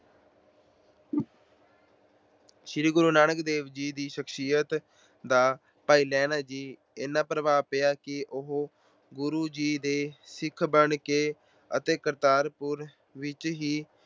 ਸ਼੍ਰੀ ਗੁਰੂ ਨਾਨਕ ਦੇਵ ਜੀ ਦੀ ਸ਼ਖਸੀਅਤ ਦਾ ਭਾਈ ਲਹਿਣਾ ਜੀ ਤੇ ਇੰਨਾ ਪ੍ਰਭਾਵ ਪਿਆ ਕਿ ਉਹ ਗੁਰੂ ਜੀ ਦੇ ਸਿੱਖ ਬਣ ਕੇ ਕਰਤਾਰਪੁਰ ਵਿੱਚ ਹੀ